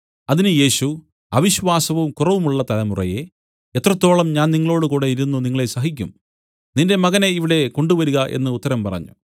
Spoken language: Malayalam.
അതിന് യേശു അവിശ്വാസവും കുറവുമുള്ള തലമുറയേ എത്രത്തോളം ഞാൻ നിങ്ങളോടുകൂടെ ഇരുന്നു നിങ്ങളെ സഹിക്കും നിന്റെ മകനെ ഇവിടെ കൊണ്ടുവരിക എന്നു ഉത്തരം പറഞ്ഞു